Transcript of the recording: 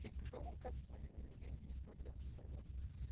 и громко спою и без проблем спою